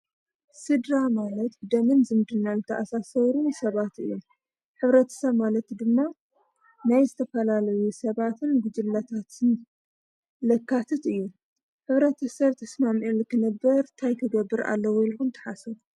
ሥድራ ማለት ደንን ዘምድናል ተኣሣሰውሩ ሰባት እዩን ኅብረት ሰብ ማለት ድማ ናይ ዘተፈላለዩ ሰባትን ጕጅለታትን ለካትት እዩ። ን ኅብረት ተሠር ተስማምኤል ክነብር እንታይታይ ክገብር ኣለዉ ኢልኹን ተሓሰብ?